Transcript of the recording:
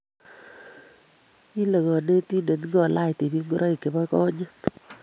Kile konetindet ngolaach tibiik ngoroik chebo gonyit